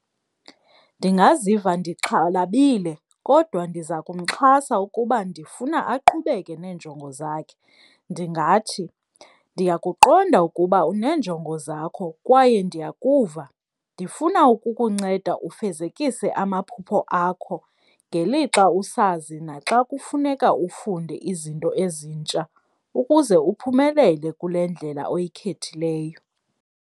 Ndingaziva ndixhalabile kodwa ndiza kumxhasa ukuba ndifuna aqhubeke neenjongo zakhe. Ndingathi ndiyakuqonda ukuba uneenjongo zakho kwaye ndiyakuva, ndifuna ukukunceda ufezekise amaphupho akho ngelixa usazi naxa kufuneka ufunde izinto ezintsha ukuze uphumelele kule ndlela oyikhethileyo.